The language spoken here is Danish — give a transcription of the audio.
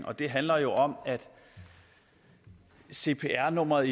og det handler jo om at cpr nummeret